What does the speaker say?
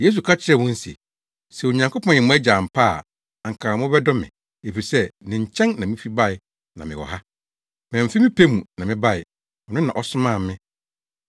Yesu ka kyerɛɛ wɔn se, “Sɛ Onyankopɔn yɛ mo Agya ampa ara a anka mobɛdɔ me, efisɛ ne nkyɛn na mifi bae na mewɔ ha. Mamfi me pɛ mu na mebae; ɔno na ɔsomaa me.